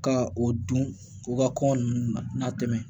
Ka o dun u ka kɔngɔ nunnu na n'a tɛmɛ